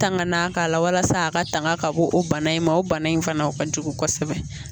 Tangana k'a la walasa a ka tanga ka bɔ o bana in ma o bana in fana o ka jugu kosɛbɛ.